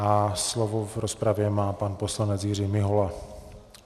A slovo v rozpravě má pan poslanec Jiří Mihola.